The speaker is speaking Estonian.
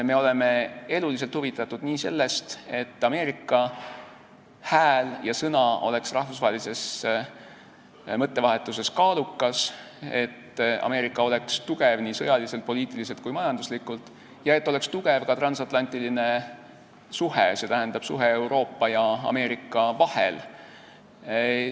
Me oleme eluliselt huvitatud sellest, et Ameerika hääl ja sõna oleks rahvusvahelises mõttevahetuses kaalukas, et Ameerika oleks tugev nii sõjaliselt, poliitiliselt kui ka majanduslikult ja et oleks tugev ka transatlantiline suhe, st suhe Euroopa ja Ameerika vahel.